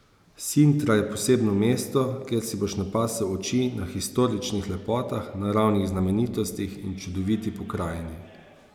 Sintra je posebno mesto, kjer si boš napasel oči na historičnih lepotah, naravnih znamenitostih in čudoviti pokrajini.